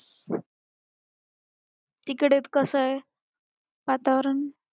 तिकडे कसं आहे वातावरण?